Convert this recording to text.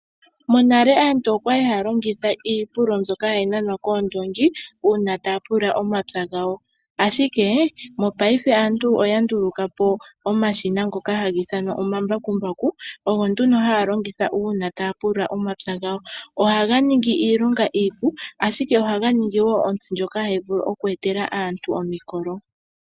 Monale asntu okwa li ha ya longitha iipululo, mbyoka ha yi nanwa koondongi, uuna ta ya pulula omapya gawo. Ashike, mopaife aantu oya ndulukapo omashina ngoka ha ga ithanwa omambakumbaku, ogo nduno ha ya longitha uuna ta ya pulula, omapya gawo. Oha ga ningi iilonga iipu, ashike oha ga ningi wo ontsi ndjoka ha yi vulu oku etela aantu omikolo.